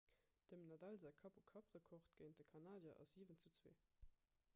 dem nadal säi kapp-u-kapp-rekord géint de kanadier ass 7:2